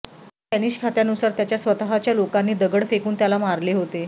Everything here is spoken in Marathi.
स्पॅनिश खात्यानुसार त्याच्या स्वतःच्या लोकांनी दगड फेकून त्याला मारले होते